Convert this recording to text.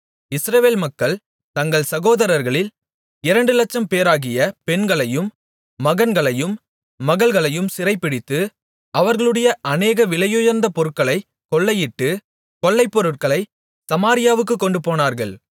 இஸ்ரவேல் மக்கள் தங்கள் சகோதரர்களில் இரண்டு லட்சம்பேராகிய பெண்களையும் மகன்களையும் மகள்களையும் சிறைபிடித்து அவர்களுடைய அநேக விலையுயர்ந்த பொருட்களைக் கொள்ளையிட்டு கொள்ளைப்பொருளைச் சமாரியாவுக்குக் கொண்டுபோனார்கள்